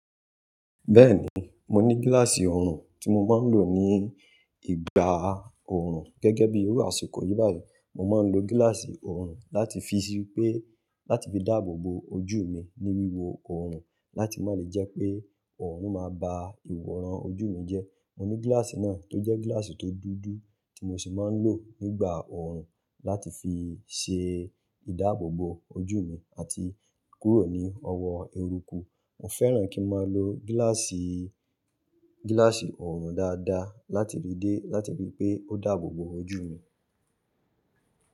Bẹ́ẹ̀ni, mo ní gíláàsì ọrùn tí mo máa ń lò ní ìgbà ọrùn. Gẹ́gẹ́ bíi irú àsìkò yìí báyìí, mo máa ń lo gíláàsì ọrùn láti fi ṣépé, láti fi dáàbò bo ojú mi ní wíwo ọrùn láti má lè jẹ́ pé ọrùn máa ba ìwọ̀ran ojú mi jẹ́. Mo ní gíláàsì náà tó jẹ́ gíláàsì tó dúdú tí mo sì máa ń lò nígbà ọrùn láti fi ṣe ìdáàbò bo ojú mi àti kúrò ní ọwọ́ eruku. Mo fẹ́ràn kí n máa lo gíláàsì, gíláàsì ọrùn dáadáa láti ríi dé, láti ríi pé ó dáàbò bo ojú mi.